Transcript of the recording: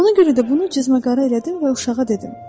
Buna görə də bunu cizmə-qara elədim və uşağa dedim.